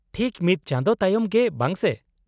-ᱴᱷᱤᱠ ᱢᱤᱫ ᱪᱟᱸᱫᱳ ᱛᱟᱭᱚᱢ ᱜᱮ, ᱵᱟᱝ ᱥᱮ ?